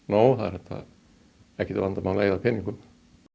nóg það er ekkert vandamál að eyða peningum